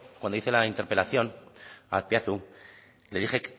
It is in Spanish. cuando hice la interpelación a azpiazu le dije